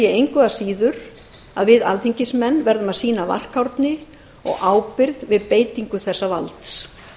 engu að síður að við alþingismenn verðum að sýna varkárni og ábyrgð við beitingu þessa valds